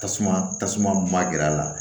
Tasuma tasuma ma gɛrɛ a la